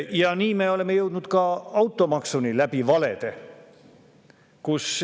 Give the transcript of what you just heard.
Ja nii me oleme jõudnud ka automaksuni läbi valede.